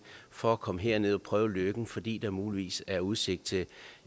for at komme herned og prøve lykken fordi der muligvis er udsigt til